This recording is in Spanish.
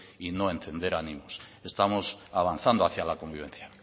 y no encender ánimos estamos avanzando hacia la convivencia